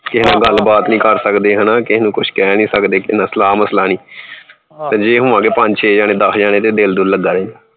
ਕਿਸੇ ਨਾਲ ਗੱਲ ਬਾਤ ਨੀ ਕਰ ਸਕਦੇ ਹਨਾ ਕਿਸੇ ਨੂੰ ਕੁਛ ਕਹਿ ਨੀ ਸਕਦੇ ਕਿਸੇ ਨਾਲ ਸਲਾਹ ਮਸਲਾ ਨੀ ਤੇ ਜੇ ਹੋਵਾਂਗੇ ਪੰਜ ਛੇ ਜਾਣੇੇ ਦਸ ਜਾਣੇ ਤੇ ਦਿਲ ਦੁਲ ਲੱਗਾ ਰਹੇ।